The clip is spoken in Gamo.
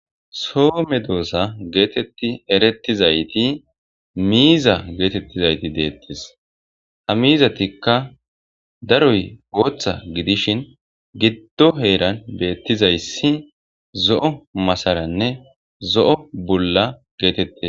So medosa geteti ertizayti miiza getetizayti detese ha mizatatikka daroy Botha gidishin gido heran betizaysi zo'o masaranne zo'o bula getetetese